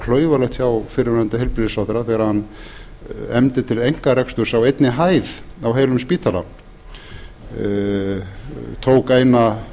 klaufalegt hjá fyrrverandi heilbrigðisráðherra þegar hann efndi til einkareksturs á einni hæð á heilum spítala tók eina